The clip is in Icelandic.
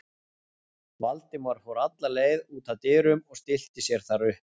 Valdimar fór alla leið út að dyrum og stillti sér þar upp.